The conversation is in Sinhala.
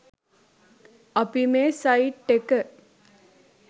අපි මේ සයිට් එක